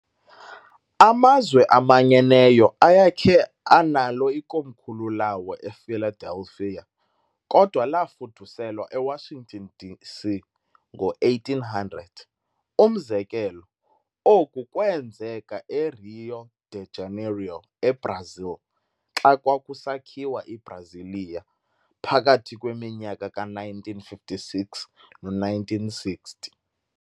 AmaZwe aManyeneyo ayekhe analo ikomkhulu lawo ePhiladelphia, kodwa lafuduselwa eWashington, D.C. ngo1800. Umzekelo, oku kweenzeka eRio de Janeiro eBrazil, xa kwakusakhiwa iBrasilia phakathi kweminyaka ka-1956 no-1960.